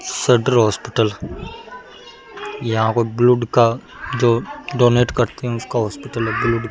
शदर hospital यहाँ पे blood का जो डोनेट करते है उसका हॉस्पिटल है ब्लूड का।